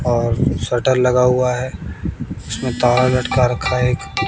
और शटर लगा हुआ है उसमें तार लटका रखा है एक--